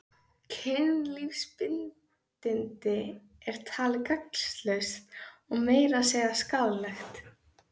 Kynlífsbindindi er talið gagnslaust og meira að segja skaðlegt.